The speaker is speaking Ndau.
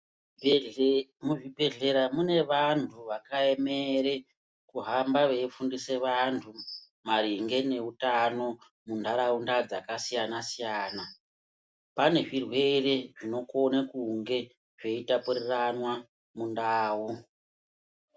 Muzvibhendleya mune vantu vakaemera kuhamba veifundisa vantu maringe neutano munharaunda dzakasiyana siyana. Pane zvirwere zvinokona kunge zveitapuriranwa mundau.